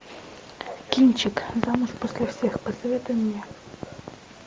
кинчик замуж после всех посоветуй мне